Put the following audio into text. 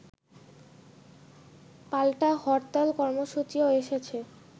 পাল্টা হরতাল কর্মসূচিও এসেছে